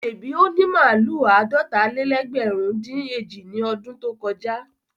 Ṣèbí ó ní màlúù àádọ́ta-lé-lẹ́gbẹ̀rún-dín-èjì ní ọdún tó kọjá?